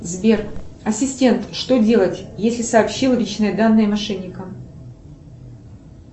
сбер ассистент что делать если сообщил личные данные мошенникам